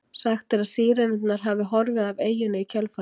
Sagt er að Sírenurnar hafi horfið af eyjunni í kjölfarið.